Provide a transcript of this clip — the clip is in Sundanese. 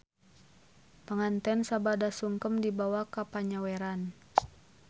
Panganten sabada sungkem dibawa ka panyaweran.